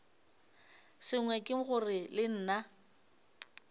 sengwe ke gore le nna